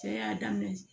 Cɛ y'a daminɛ